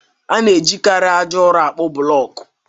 A na-ejikarị aja ụrọ àkpú blọkụ